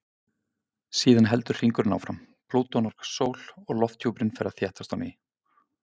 Síðan heldur hringurinn áfram, Plútó nálgast sól og lofthjúpurinn fer að þéttast á ný.